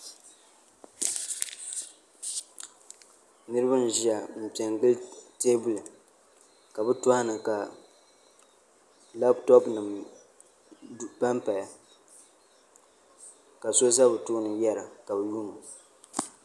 Niraba n ʒiya n piɛ n gili teebuli ka bi tooni ka labtop nim panpaya ka so ʒɛ bi tooni yɛra ka bi yuundo